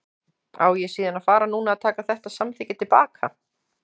Á ég síðan að fara núna að taka þetta samþykki til baka?